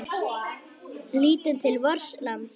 Lítum til vors lands.